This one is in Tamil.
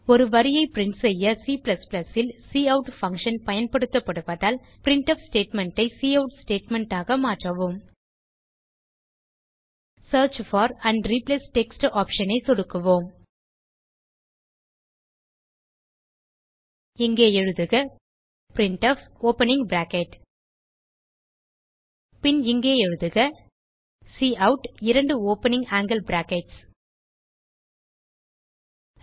ஒரு வரியை பிரின்ட் செய்ய C ல் கவுட் பங்ஷன் பயன்படுத்துவதால் பிரின்ட்ஃப் ஸ்டேட்மெண்ட் ஐ கவுட் ஸ்டேட்மெண்ட் ஆக மாற்றவும் search for and replace text option ஐ சொடுக்கவும் இங்கே எழுதுக பிரின்ட்ஃப் ஓப்பனிங் பிராக்கெட் பின் இங்கே எழுதுக கவுட் இரண்டு ஓப்பனிங் ஆங்கில் பிராக்கெட்ஸ் எல்டிஎல்டி